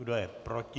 Kdo je proti?